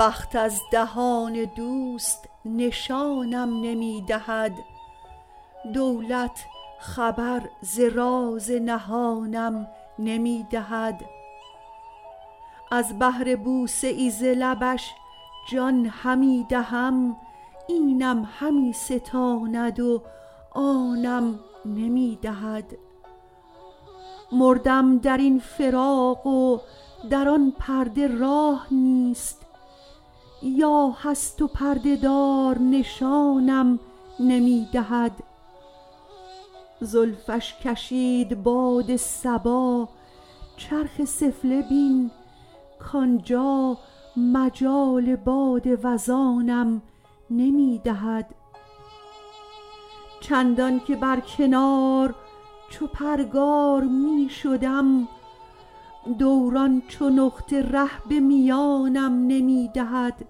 بخت از دهان دوست نشانم نمی دهد دولت خبر ز راز نهانم نمی دهد از بهر بوسه ای ز لبش جان همی دهم اینم همی ستاند و آنم نمی دهد مردم در این فراق و در آن پرده راه نیست یا هست و پرده دار نشانم نمی دهد زلفش کشید باد صبا چرخ سفله بین کانجا مجال باد وزانم نمی دهد چندان که بر کنار چو پرگار می شدم دوران چو نقطه ره به میانم نمی دهد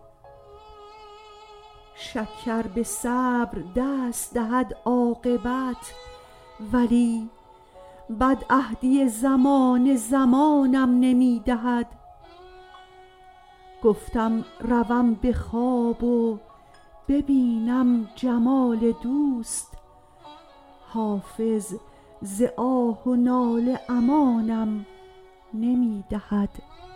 شکر به صبر دست دهد عاقبت ولی بدعهدی زمانه زمانم نمی دهد گفتم روم به خواب و ببینم جمال دوست حافظ ز آه و ناله امانم نمی دهد